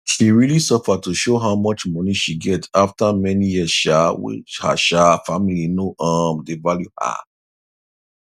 she realy suffer to show how much money she get after many years um wey her um family no um dey value her